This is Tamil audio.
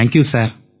thank you sir